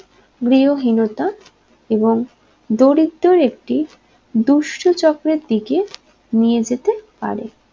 গৃহহীনতা এবং দৰিদ্ৰর একটি দুর্ষো চক্রের দিকে নিয়ে যেতে পারে